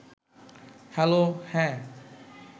হ্যালো…হ্যাঁ